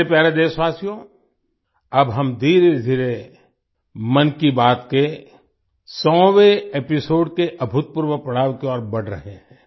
मेरे प्यारे देशवासियो अब हम धीरेधीरे मन की बात के 100वें एपिसोड के अभूतपूर्व पड़ाव की ओर बढ़ रहे हैं